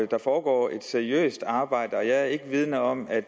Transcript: der foregår et seriøst arbejde og jeg er ikke vidende om at